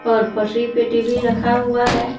और पटरी पे टी_वी रखा हुआ है।